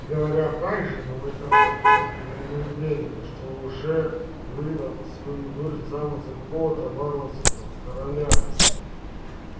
говорят также но в этом я не уверен что уже выдал свою дочь замуж за какого-то варварского короля